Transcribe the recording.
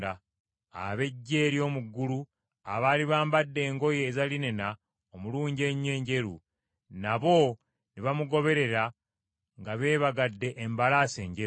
Ab’eggye ery’omu ggulu abaali bambadde engoye eza linena omulungi ennyo enjeru, nabo ne bamugoberera nga beebagadde embalaasi enjeru.